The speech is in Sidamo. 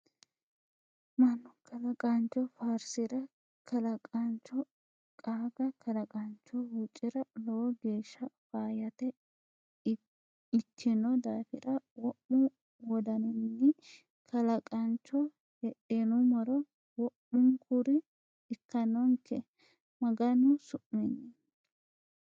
Mannu kalaqancho faarsira kalaqancho qaaga kalaqancho huuccira lowo geeshsha faayyate ikkino daafira wo'mu wodaninkeni Kalaqancho hexxinuummoro wo'munkuri ikkanonke Maganu su'minni.